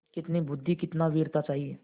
कितनी बुद्वि कितनी वीरता चाहिए